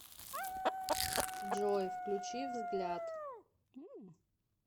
джой включи взгляд